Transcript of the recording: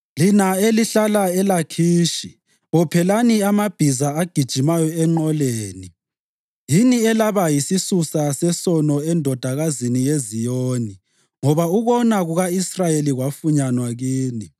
Lina elihlala eLakhishi, bophelani amabhiza agijimayo enqoleni. Yini elaba yisisusa sesono eNdodakazini yeZiyoni, ngoba ukona kuka-Israyeli kwafunyanwa kini.